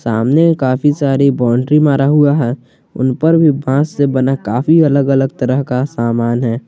सामने काफी सारी बाउंड्री मारा हुआ है उन पर भी बांस से बना काफी अलग अलग तरह का समान है।